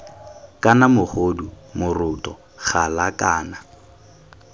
kana mogodu moroto gala kana